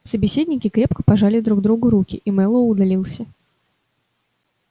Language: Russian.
собеседники крепко пожали друг другу руки и мэллоу удалился